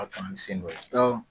A taa ni sen dɔ ye awɔ